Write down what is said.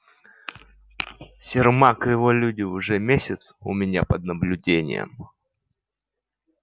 сермак и его люди уже месяц у меня под наблюдением